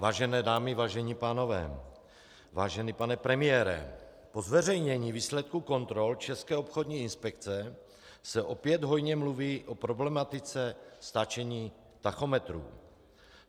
Vážené dámy, vážení pánové, vážený pane premiére, po zveřejnění výsledků kontrol České obchodní inspekce se opět hojně mluví o problematice stáčení tachometrů.